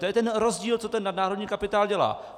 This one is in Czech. To je ten rozdíl, co ten nadnárodní kapitál dělá.